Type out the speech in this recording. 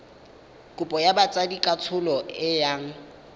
kopo ya botsadikatsholo e yang